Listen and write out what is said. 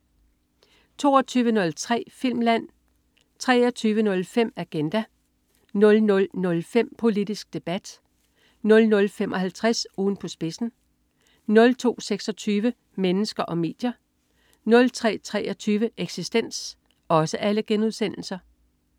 22.03 Filmland* 23.05 Agenda* 00.05 Politisk Debat* 00.55 Ugen på spidsen* 02.26 Mennesker og medier* 03.23 Eksistens*